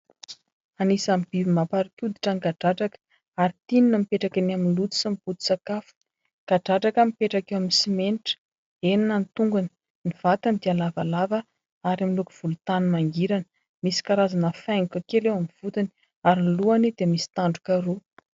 anisany biby mamparikoditra ny gagadradraka ary tiny na mipetraka ny amin'ny loto sy ny poti sakafo ngadratraka mipetraka eo amin'ny simenitra enina ny tongony ny vatany dia lavalava ary amin'nilokovolotany mangirana misy karazana faingoko kela eo amin'ny votony ary ny lohany dia misy tangotra roa